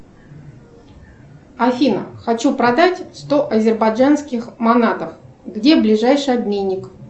афина хочу продать сто азербайджанских манатов где ближайший обменник